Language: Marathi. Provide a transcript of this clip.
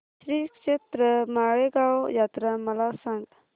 श्रीक्षेत्र माळेगाव यात्रा मला सांग